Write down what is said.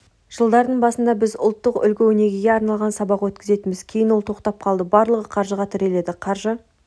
жылдардың басында біз ұлттық үлгі-өнегеге арналған сабақ өткізетінбіз кейін ол тоқтап қалды барлығы қаржыға тірелді қаржы